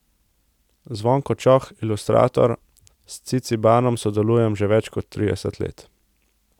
Zvonko Čoh, ilustrator: 'S Cicibanom sodelujem že več kot trideset let.